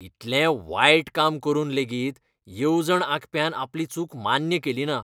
इतलें वायट काम करून लेगीत येवजण आंखप्यान आपली चूक मान्य केलीना.